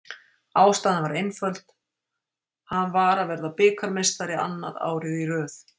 Ástæðan var einföld, hann var að vera bikarmeistari, annað árið í röð.